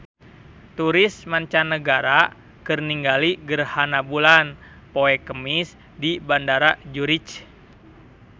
Turis mancanagara keur ningali gerhana bulan poe Kemis di Bandara Zurich